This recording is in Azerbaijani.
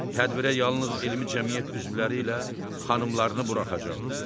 Tədbirə yalnız elmi cəmiyyət üzvləri ilə xanımlarını buraxacaqlar.